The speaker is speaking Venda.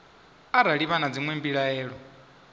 arali vha na dzinwe mbilaelo